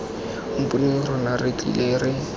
mponeng rona re tlile re